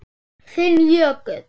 Þinn Jökull.